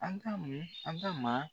An ka an ka maa